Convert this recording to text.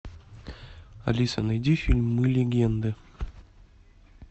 алиса найди фильм мы легенды